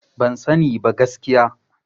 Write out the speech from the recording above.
Ban sani ba gaskiya.